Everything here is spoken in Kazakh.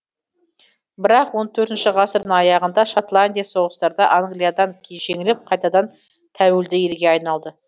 бірақ он төртінші ғасырдың аяғында шотландия соғыстарда англиядан жеңіліп қайтадан тәуелді елге айналды